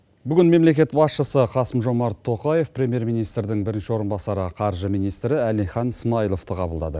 бүгін мемлекет басшысы қасым жомарт тоқаев премьер министрдің бірінші орынбасары қаржы министрі алихан смаиловты қабылдады